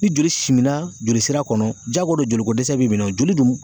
Ni joli simina jolisira kɔnɔ jiyagoya do joliko dɛsɛ b'i minɛ o joli dun